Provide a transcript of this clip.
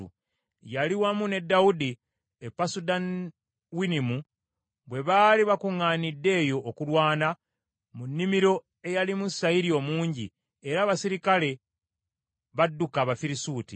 Yali wamu ne Dawudi e Pasudawinimu, bwe baali bakuŋŋaanidde eyo okulwana, mu nnimiro eyalimu sayiri omungi, era abaserikale badduka Abafirisuuti.